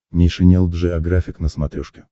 нейшенел джеографик на смотрешке